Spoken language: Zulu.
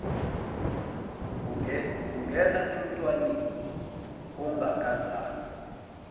bungena emntwaneni ongakazalwa